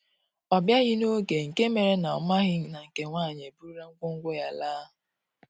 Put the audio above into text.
Ọ biaghi n'oge nke mere na ọ maghị na nke nwaanyị eburula ngwo ngwo ya laa